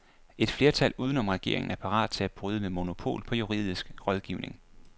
Et flertal uden om regeringen er parat til at bryde med monopol på juridisk rådgivning.